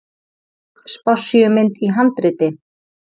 Spássíumynd í handriti.